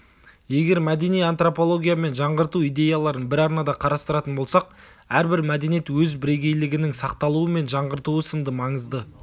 егер мәдени антропология мен жаңғырту идеяларын бір арнада қарастыратын болсақ әрбір мәдениет өз бірегейлігінің сақталуы мен жаңғыртуы сынды маңызды